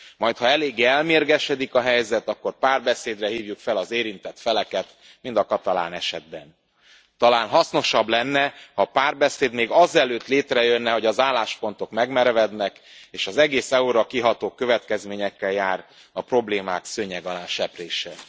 Majd ha eléggé elmérgesedik a helyzet, akkor párbeszédre hívjuk fel az érintett feleket, mint a katalán esetben. Talán hasznosabb lenne, ha a párbeszéd még azelőtt létrejönne, hogy az álláspontok megmerevednek és az egész EU ra kiható következményekkel jár a problémák szőnyeg alá seprése.